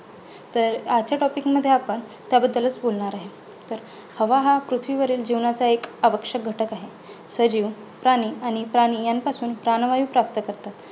तर आजच्या topic मध्ये आपण त्याबद्दलचं बोलणार आहे. तर हवा हा पृथ्वीवरील जीवनाचा आवश्यक घटक आहे. सजीव, पाणी आणि प्राणी ह्यांचा आपण प्राणवायू प्राप्त करतात.